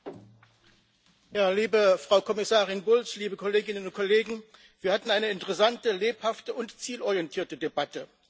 Herr Präsident, liebe Frau Kommissarin Bulc, liebe Kolleginnen und Kollegen! Wir hatten eine interessante, lebhafte und zielorientierte Debatte.